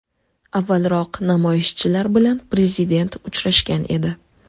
Avvalroq namoyishchilar bilan prezident uchrashgan edi.